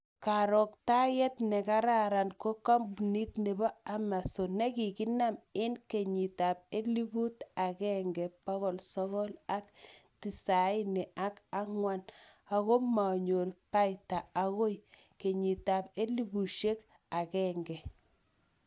Karoktayet nekararan ko kampunit nebo Amazon nekikinam en kenyitab elfut agengebokol sogol ak tisaini ak angwan ako manyor paita agoi kenyitab elfushiek ak agenge